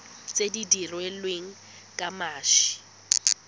tse di dirilweng ka mashi